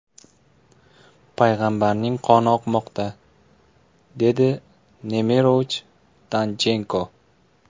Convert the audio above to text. payg‘ambarning qoni oqmoqda”, dedi Nemirovich-Danchenko.